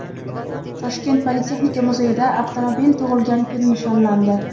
Toshkent politexnika muzeyida avtomobil tug‘ilgan kun nishonlandi.